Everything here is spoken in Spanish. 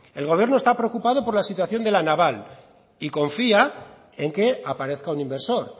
el gobierno está preocupado por la situación de la naval y confía en que aparezca un inversor